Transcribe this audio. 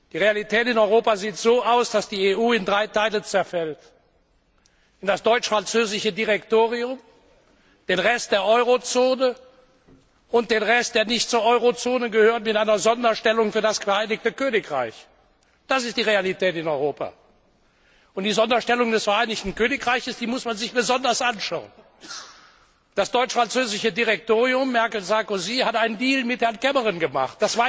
Die Realität in Europa sieht so aus, dass die EU in drei Teile zerfällt in das deutsch französische Direktorium, den Rest der Eurozone und den Rest, der nicht zur Eurozone gehört, mit einer Sonderstellung für das Vereinigte Königreich. Das ist die Realität in Europa. Und die Sonderstellung des Vereinigten Königreichs muss man sich besonders anschauen. Das deutsch französische Direktorium Merkel Sarkozy hat einen Deal mit Herrn Cameron gemacht.